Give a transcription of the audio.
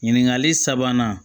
Ɲininkali sabanan